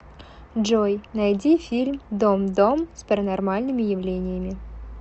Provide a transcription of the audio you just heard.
джой найди фильм дом дом с паранормальными явлениями